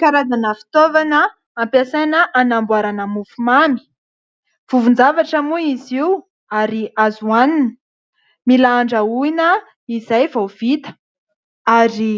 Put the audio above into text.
Karazana fitaovana ampiasaina anamboarana mofomamy : vovo-javatra moa izy io ary azo hanina. Mila andrahoina izay vao vita ary